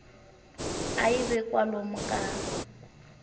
a yi ve kwalomu ka